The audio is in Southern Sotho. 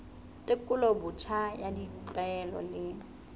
tekolo botjha ya ditlwaelo le